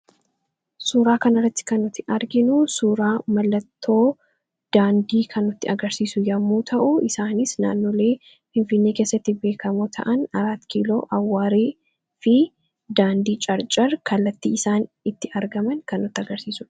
Suuraa kana irratti kan nuti arginu suuraa mallattoo daandii kan nutti agarsiisu yemmuu ta'u; Isaanis naannolee Finfinnee keessatti beekamoo ta'an; Araatkiiloo, Awwaareefi daandii Carcar kallattii isaan itti argaman kan nutti agarsiisudha.